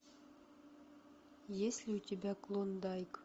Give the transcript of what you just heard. есть ли у тебя клондайк